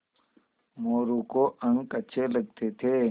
मोरू को अंक अच्छे लगते थे